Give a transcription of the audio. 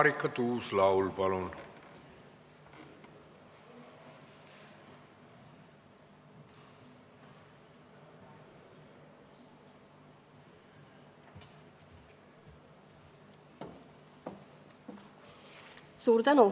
Marika Tuus-Laul, palun!